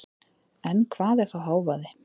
En hvað er þá hávaði?